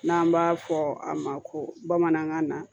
N'an b'a fɔ a ma ko bamanankan na